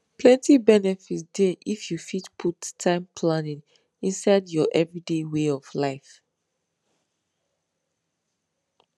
plenty benefit dey if you fit put time planning inside your everyday way of life